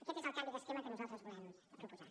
aquest és el canvi d’esquema que nosaltres volem proposar